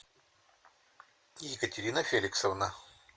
екатерина феликсовна